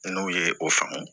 N'u ye o faamu